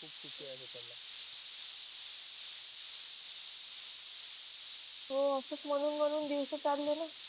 हो असच मानून माणून दिवस चाले न.